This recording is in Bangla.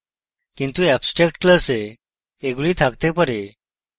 কিন্তু abstract class এগুলি থাকতে পারে